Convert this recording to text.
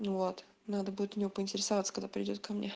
ну вот надо будет у неё поинтересоваться когда придёт ко мне